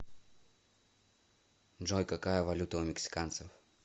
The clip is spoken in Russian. джой какая валюта у мексиканцев